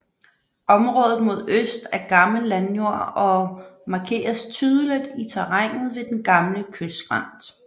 Området mod øst er gammel landjord og markeres tydeligt i terrænet ved den gamle kystskrænt